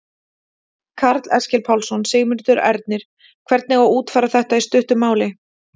Karl Eskil Pálsson: Sigmundur Ernir, hvernig á að útfæra þetta í stuttu máli?